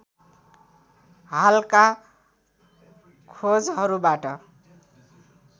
हालका खोजहरूबाट